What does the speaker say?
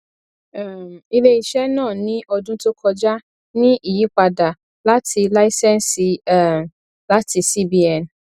um iléiṣẹ náà ní ọdún tó kọjá ní ìyípadà àti láísẹnsì um láti cbn